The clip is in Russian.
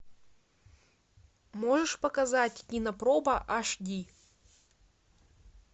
можешь показать кинопроба аш ди